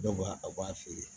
Dɔw b'a a b'a feere